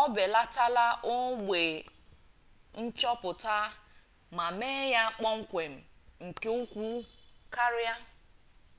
obelatala ogbe nchoputa ma mee ya kpom-kwem nke ukwu karia